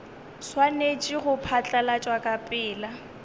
swanetše go phatlalatšwa ka pela